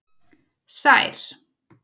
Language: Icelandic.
Sær